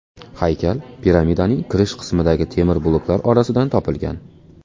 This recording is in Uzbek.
Haykal piramidaning kirish qismidagi temir bloklar orasidan topilgan.